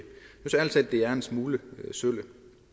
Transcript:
er en smule sølle